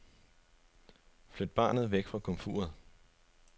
Flyt barnet væk fra komfuret.